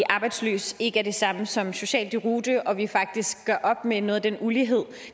arbejdsløs ikke er det samme som social deroute og at vi faktisk gør op med noget af den ulighed